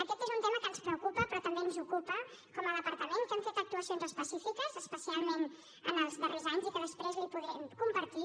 aquest és un tema que ens preocupa però que també ens ocupa com a departament que hi hem fet actuacions específiques especialment els darrers anys i que després podrem compartir